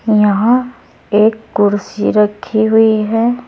यहां एक कुर्सी रखी हुई है।